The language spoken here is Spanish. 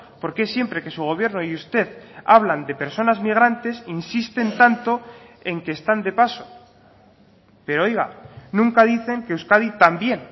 por qué siempre que su gobierno y usted hablan de personas migrantes insisten tanto en que están de paso pero oiga nunca dicen que euskadi también